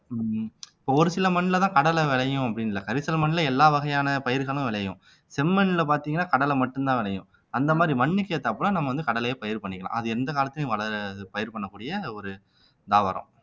உம் இப்போ ஒரு சில மண்லதான் கடலை விளையும் அப்படின்னு இல்லை கரிசல் மண்ணிலே எல்லா வகையான பயிர்களும் விளையும் செம்மண்ல பார்த்தீங்கன்னா கடலை மட்டும்தான் விளையும் அந்த மாதிரி மண்ணுக்கு ஏத்தாப்புல நம்ம வந்து கடலையை பயிர் பண்ணிக்கலாம் அது எந்த காலத்துலயும் வளர இது பயிர் பண்ணக்கூடிய அந்த ஒரு தாவரம்